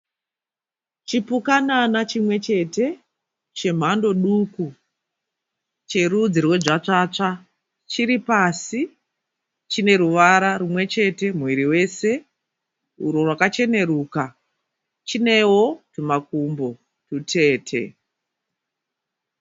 Chioukanana chimwe chete chemhando duku cherudzi rwedzvadzvatsva. Chiri pasi. Chine ruvara rumwe chete muviri wese urwo rwakacheneruka. Chinewo tumakumbo tutete.